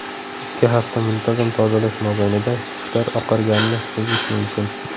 Ikki hafta muntazam tozalash mobaynida tishlar oqarganini sezish mumkin.